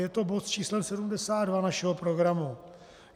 Je to bod s číslem 72 našeho programu.